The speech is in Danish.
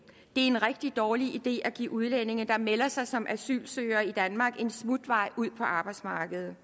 en rigtig dårlig idé at give udlændinge der melder sig som asylsøgere i danmark en smutvej ud på arbejdsmarkedet